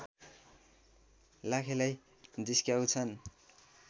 लाखेलाई जिस्क्याउँछन्